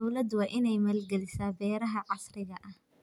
Dawladdu waa inay maalgelisaa beeraha casriga ah.